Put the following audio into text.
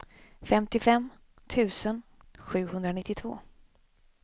femtiofem tusen sjuhundranittiotvå